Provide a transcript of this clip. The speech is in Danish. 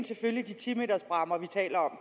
selvfølgelig de ti meters bræmmer vi taler om